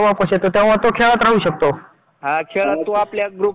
जसं delivery boy